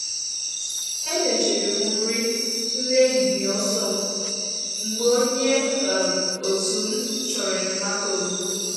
E mechiri m nri nri ehihie ọsọ um m mgbe onye um òtù m chọrọ enyemaka ozugbo